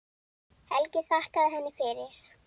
Helgi þakkaði henni fyrir.